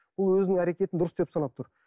ол өзінің әрекетін дұрыс деп санап тұр